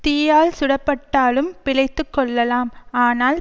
தீயால் சுடப்பட்டாலும் பிழைத்து கொள்ளலாம் ஆனால்